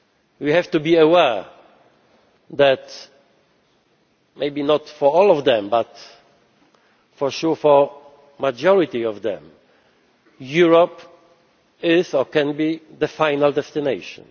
We have to be aware that, maybe not for all of them, but for sure for the majority of them, Europe is or can be the final destination.